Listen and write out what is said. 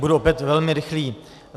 Budu opět velmi rychlý.